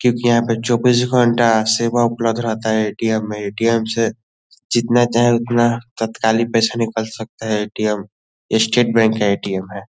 क्योंकि यहाँ पे चौबीस घंटा सेवा उपलब्ध रहता है ए.टी.एम. में ए.टी.एम. से जितना चाहे उतना तात्काली पैसा निकाल सकते हैं ए.टी.एम. ये स्टेट बैंक का ए.टी.एम. है।